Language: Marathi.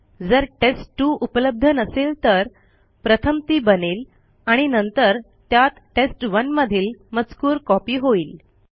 जर टेस्ट2 उपलब्ध नसेल तर प्रथम ती बनेल आणि नंतर त्यात टेस्ट1 मधील मजकूर कॉपी होईल